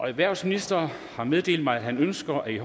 erhvervsministeren har meddelt mig at han ønsker i